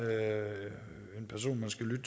er en person man skal lytte